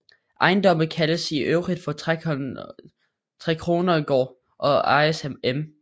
Ejendommen kaldes i øvrigt for Trekronergård og ejes af M